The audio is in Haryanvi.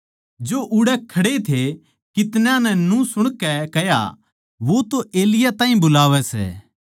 जो उड़ै खड़े थे कितन्याँ नै न्यू सुणकै कह्या वो तो एलिय्याह ताहीं बुलावै सै